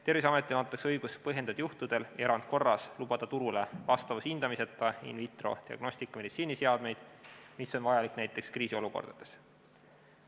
Terviseametile antakse õigus põhjendatud juhtudel erandkorras lubada turule vastavushindamiseta in vitro diagnostikameditsiiniseadmeid, mis on vajalik näiteks kriisiolukordades.